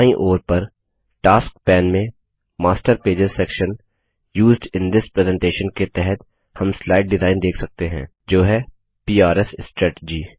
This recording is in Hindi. दाईं ओर पर टास्क पैन में master pages section used in this presentation के तहत हम स्लाइड डिजाइन देख सकते हैं जो है पीआर स्ट्रैटजी